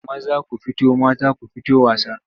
Maza ku fito mata ku fito wasa.